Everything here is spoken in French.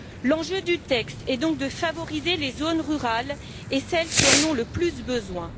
L'enjeu du texte est donc de favoriser les zones rurales et celles qui en ont le plus besoin.